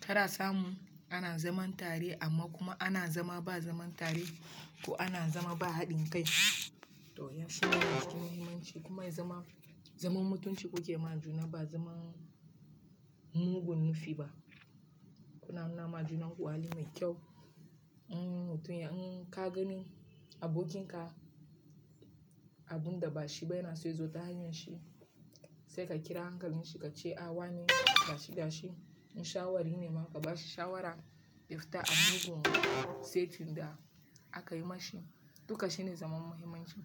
Tara samu ana zaman tare amma kuma ana zama ba zaman tare ko ana zama ba haɗin kai. To ya fi wani abu muhimmanci kuma ya zama, zaman mutunci kuke ma juna ba zaman mugun nufi ba. Kuna nuna ma junan ku hali mai kyau in mutum ya, in ka gani abokin ka abun da ba shi ba yana so ya zo ta hanyar shi, sai ka kira hankalin shi ka ce a wane gashi gashi in shawara ya nema ka bashi shawara. Ya fita a mugun saitin da aka yi ma shi. Dukan shine zaman muhimmanci.